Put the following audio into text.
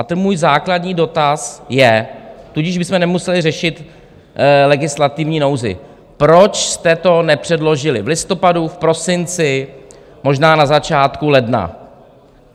A ten můj základní dotaz je - tudíž bychom nemuseli řešit legislativní nouzi - proč jste to nepředložili v listopadu, v prosinci, možná na začátku ledna?